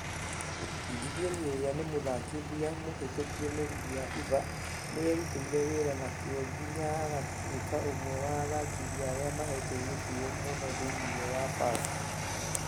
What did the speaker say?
Gideon ũrĩa nĩ mũthakithia mũhĩtũkie na rĩgĩ ya fifa , nĩeruteire wera na kĩo nginya agĩtueka ũmwe wa athakithia arĩa mahetwo gĩtĩo mũno thĩinĩ wa bara